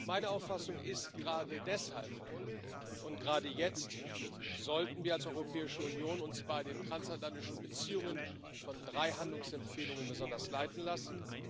Meine Auffassung ist Gerade deshalb und gerade jetzt sollten wir uns als Europäische Union bei den transatlantischen Beziehungen von drei Handlungsempfehlungen besonders leiten lassen.